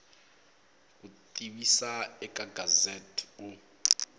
ku tivisa eka gazette u